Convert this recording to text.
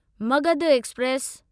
Magadh express